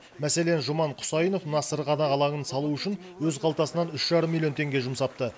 мәселен жұман құсайынов мына сырғанақ алаңын салу үшін өз қалтасынан үш жарым миллион теңге жұмсапты